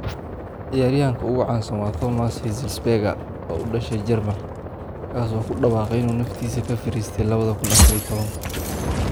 Ciyaaryahanka ugu caansan waa Thomas Hitzlsperger, oo u dhashay Jarmalka, kaas oo ku dhawaaqay inuu naftiisa ka fariistay 2014.